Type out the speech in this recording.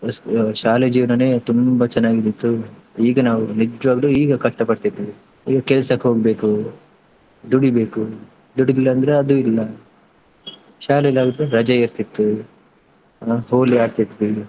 ಶಾಲೆ ಜೇವ್ನನ್ನೇ ತುಂಬಾ ಚೆನ್ನಾಗಿದ್ದಿತ್ತು, ಈಗ ನಾವು ನಿಜ್ವಾಗ್ಲೂ ಈಗ ಕಷ್ಟ ಪಡ್ತಿದ್ವಿ. ಈಗ ಕೆಲ್ಸಕ್ಕೆ ಹೋಗ್ಬೇಕು ದುಡಿಬೇಕು ದುಡಿಲಿಲ್ಲ ಅಂದ್ರೆ ಅದು ಇಲ್ಲ ಶಾಲೆಯಲ್ಲಿ ಯಾವಾಗ್ಲೂ ರಜೆ ಇರ್ತಿತ್ತು, ಹೋಳಿ ಆಡ್ತಿದ್ವಿ.